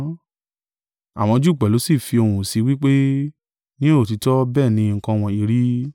Àwọn Júù pẹ̀lú sì fi ohùn sí i wí pé, ní òtítọ́ bẹ́ẹ̀ ni nǹkan wọ̀nyí rí.